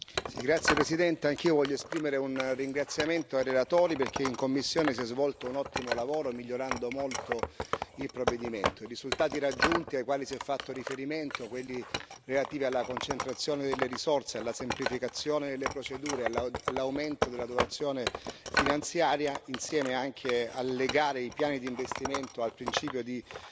Signor Presidente, onorevoli colleghi, anch'io voglio esprimere un ringraziamento ai relatori, perché in commissione si è svolto un ottimo lavoro, migliorando molto il provvedimento. I risultati raggiunti, ai quali si è fatto riferimento, quelli relativi alla concentrazione delle risorse, alla semplificazione delle procedure, all'aumento della dotazione finanziaria, insieme anche alle gare e ai piani di investimento e al principio di